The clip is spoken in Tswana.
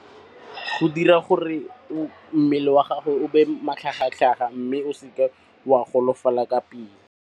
Go dira gore mmele wa gago o be matlhagatlhaga mme o seke wa golofala ka pele.